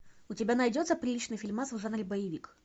у тебя найдется приличный фильмас в жанре боевик